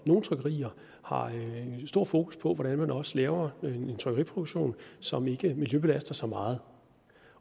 nogle trykkerier har stor fokus på hvordan man også laver en trykkeriproduktion som ikke miljøbelaster så meget